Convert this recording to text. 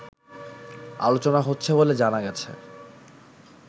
আলোচনা হচ্ছে বলে জানা গেছে